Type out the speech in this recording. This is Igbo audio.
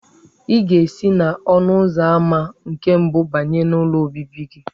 Ị ga-esi n'ọnụ ụzọ ámá nke mbụ banye n'ụlọ obibi gị.